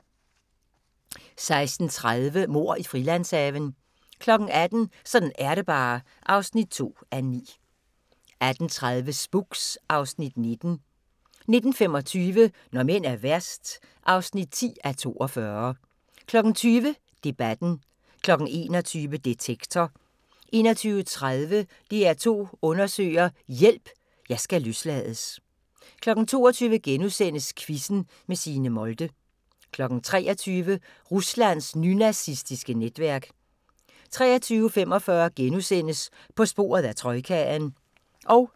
16:30: Mord i Frilandshaven 18:00: Sådan er det bare (2:9) 18:30: Spooks (Afs. 19) 19:25: Når mænd er værst (10:42) 20:00: Debatten 21:00: Detektor 21:30: DR2 Undersøger: Hjælp – Jeg skal løslades 22:00: Quizzen med Signe Molde * 23:00: Ruslands nynazistiske netværk 23:45: På sporet af troikaen *